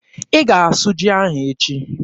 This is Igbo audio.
Ị ga-asụ ji ahụ echi!